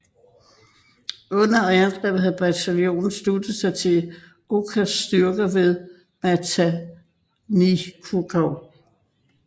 Under angrebet havde bataljonen sluttet sig til Okas styrker ved Matanikau